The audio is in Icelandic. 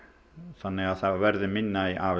þannig að það verði minna af